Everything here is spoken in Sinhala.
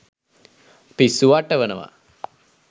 පිස්සු වට්ටවනවා.